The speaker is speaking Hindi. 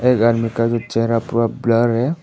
एक आदमी का भी चेहरा पूरा ब्लर है।